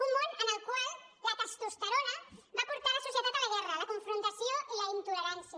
un món en el qual la testosterona va portar la societat a la guerra a la confrontació i a la intolerància